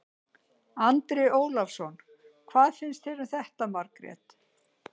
Andri Ólafsson: Hvað finnst þér um þetta Margrét?